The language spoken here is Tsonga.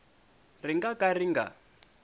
ri nga ka ri nga